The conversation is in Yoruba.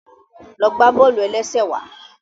Lọ gbà bọ́ọ̀lù-ẹlẹ́sẹ̀ wàá